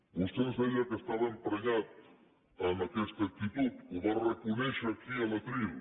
vostè ens deia que estava emprenyat amb aquesta actitud ho va reconèixer aquí al faristol